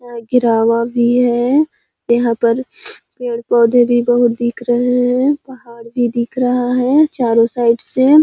घिरावा भी है यहाँ पर पेड़ पौधे भी बहुत दिख रहै हैं पहाड भी दिख रहा है चारों साइड से --